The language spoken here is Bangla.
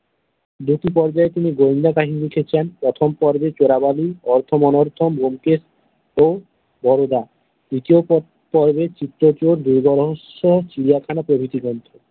পর্যায়ে তিনি গোয়েন্দা কাহিনী লিখেছেন প্রথম পর্বে চোরাবালি, অর্থ অনর্থ ব্যোমকেশ ও বরোদা, দ্বিতীয় পর্বে চিত্র চোর, দূর্গ রহস্য, চিড়িয়াখানা প্রভৃতি গ্রন্থ।